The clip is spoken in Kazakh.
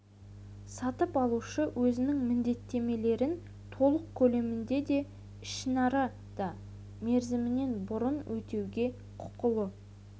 сатып алушы өзінің міндеттемелерін толық көлемінде де ішінара да мерзімінен бұрын өтеуге құқылы